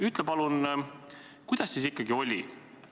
Ütle palun, kuidas siis ikkagi oli.